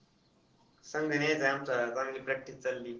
संघ न्यायचाय आमचा, चांगली practice चालली.